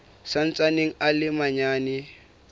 sa ntsaneng a le manyane